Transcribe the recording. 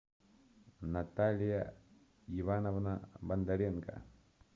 наталья ивановна бондаренко